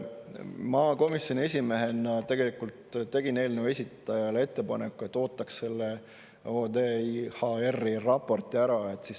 Ma komisjoni esimehena tegelikult tegin eelnõu esitajale ettepaneku, et ootaks selle ODIHR‑i raporti ära.